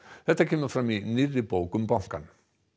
þetta kemur fram í nýrri bók um bankann